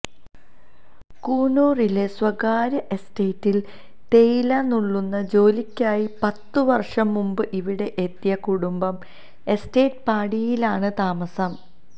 കൂനൂരിലെ സ്വകാര്യ എസ്റ്റേറ്റില് തേയില നുള്ളുന്ന ജോലിക്കായി പത്ത് വര്ഷം മുമ്പ് ഇവിടെ എത്തിയ കുടുംബം എസ്റ്റേറ്റ് പാടിയിലാണ് താമസം